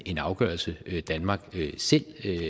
en afgørelse danmark selv